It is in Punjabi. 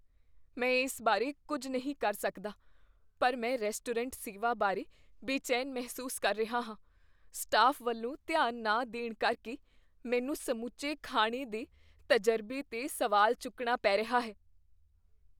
ਮੈਂ ਇਸ ਬਾਰੇ ਕੁੱਝ ਨਹੀਂ ਕਰ ਸਕਦਾ ਪਰ ਮੈਂ ਰੈਸਟੋਰੈਂਟ ਸੇਵਾ ਬਾਰੇ ਬੇਚੈਨ ਮਹਿਸੂਸ ਕਰ ਰਿਹਾ ਹਾਂ, ਸਟਾਫ਼ ਵੱਲੋਂ ਧਿਆਨ ਨਾ ਦੇਣ ਕਰਕੇ ਮੈਨੂੰ ਸਮੁੱਚੇ ਖਾਣੇ ਦੇ ਤਜ਼ਰਬੇ 'ਤੇ ਸਵਾਲ ਚੁੱਕਣਾ ਪੈ ਰਿਹਾ ਹੈ।